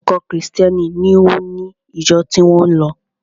Ọ̀kọ̀ọ̀kan Krìstẹ́ni ni ó ni ìjọ tí ó ń lọ.